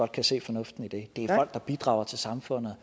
kan se fornuften i det det er der bidrager til samfundet